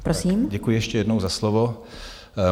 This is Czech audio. Děkuji ještě jednou za slovo.